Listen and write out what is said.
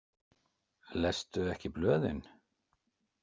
Lestu ekki blöðin?